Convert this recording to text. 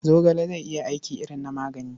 Zogale zai iya aiki irin na magani.